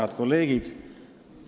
Head kolleegid!